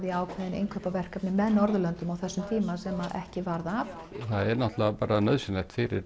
í ákveðin innkaupaverkefni með Norðurlöndum á þessum tíma sem ekki varð af það er náttúrulega bara nauðsynlegt fyrir